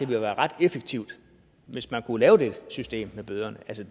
ville være ret effektivt hvis man kunne lave det system med bøderne